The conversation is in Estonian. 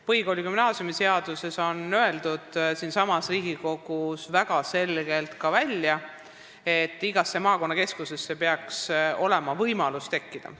Põhikooli- ja gümnaasiumiseaduse aruteludel öeldi siinsamas Riigikogus väga selgelt välja, et igasse maakonnakeskusesse peaks tulema riigigümnaasium.